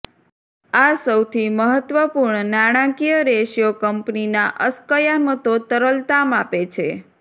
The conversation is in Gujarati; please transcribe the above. આ સૌથી મહત્વપૂર્ણ નાણાકીય રેશિયો કંપનીના અસ્કયામતો તરલતા માપે છે